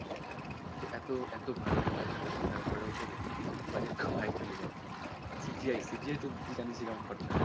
তো এতো, এতো ভালো ভালো actor থাকার পরেও ওদের budget খুব high চলে যায় CGI, CGI তো তুই জানিস ই কেমন খরচা হয়